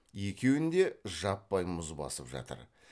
екеуін де жаппай мұз басып жатыр